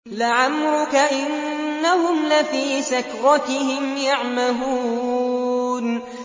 لَعَمْرُكَ إِنَّهُمْ لَفِي سَكْرَتِهِمْ يَعْمَهُونَ